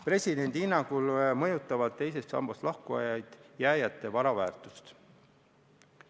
Presidendi hinnangul mõjutavad teisest sambast lahkujad sinna jääjate vara väärtust.